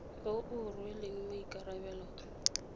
yo o rweleng maikarabelo a